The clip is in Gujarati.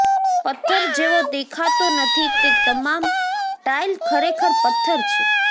પથ્થર જેવો દેખાતો નથી તે તમામ ટાઇલ ખરેખર પથ્થર છે